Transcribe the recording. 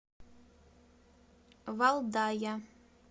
валдая